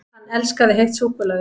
HANN ELSKAÐI HEITT SÚKKULAÐI!